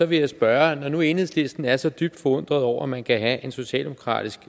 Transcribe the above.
vil jeg spørge når nu enhedslisten er så dybt forundret over at man kan have en socialdemokratisk